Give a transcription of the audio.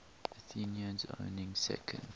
athenians owning second